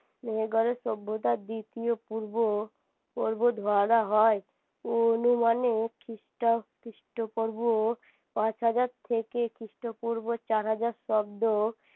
মেহেরগড়ে সভ্যতার দ্বিতীয় পূর্ব পূর্ব ধরা হয় অনুমানে খ্রিস্টপূর্ব পাঁচ হাজার থেকে খ্রিস্টপূর্ব চার হাজার অব্দ